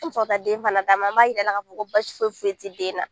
An bɛ sɔrɔ ka taa den fana d'a ma an b'a jira a la k'a fɔ basi foyi foyi ti den na